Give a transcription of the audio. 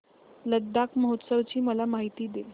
लडाख महोत्सवाची मला माहिती दे